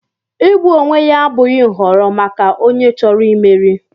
Igbu onwe ya abụghị nhọrọ maka onye chọrọ imeri.